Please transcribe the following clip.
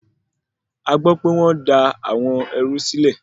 Agbọ́pẹ́ wọ́n dá àwọn ẹrú sílẹ̀.